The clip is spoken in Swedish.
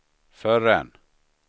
förrän